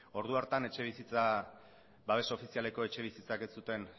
ordu hartan babes ofizialeko etxebizitzak ez zuten